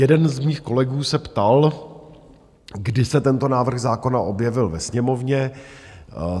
Jeden z mých kolegů se ptal, kdy se tento návrh zákona objevil ve sněmovně.